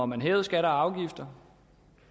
man hævede skatter og afgifter